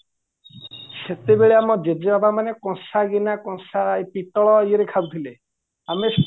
ସେତେବେଳେ ଆମ ଜେଜେବାପା ମାନେ କଂସା ଗିନା କଂସା ପିତଳ ଇଏରେ ଖାଉଥିଲେ ଆମେ